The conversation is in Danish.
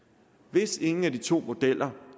hvis ingen af de to modeller